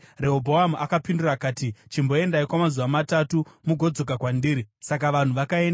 Rehobhoamu akapindura akati, “Chimboendai kwamazuva matatu mugodzoka kwandiri.” Saka vanhu vakaenda.